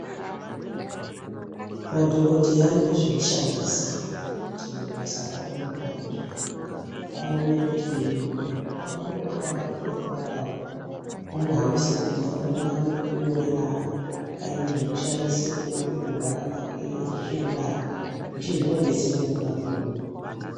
Madhokodheya anoda zvekushandisa kuti basa ravo rione kuhamba zvakanaka awone kuti muntu wavo wavarikuda kurapa uyu inohambise kuti afanire kunge ane pekunyorera aine zvekushandisa kuona kurwara kwake zveshe zvinobetsera mukurapwa kwemunhu.